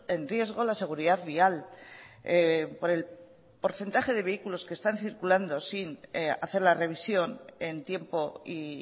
en riesgo la seguridad vial por el porcentaje de vehículos que están circulando sin hacer la revisión en tiempo y